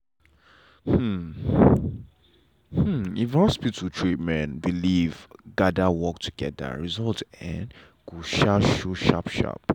hmm hmm if hospital treatment and belief gader work together result um go um show sharp sharp.